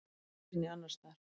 Hvorki hér né annars staðar.